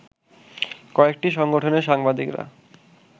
কয়েকটি সংগঠনের সাংবাদিকেরা